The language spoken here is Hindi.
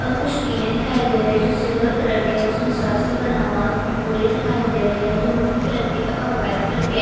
और कुछ टीने दिखाई दे रहे है जो सिल्वर कलर के है इसमें बना हुआ है और कुछ बोरे दिखाई दे रहे है जो मिटटी कलर के है और वाइट कलर के है।